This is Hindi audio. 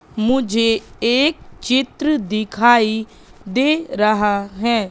मुझे एक चित्र दिखाई दे रहा है।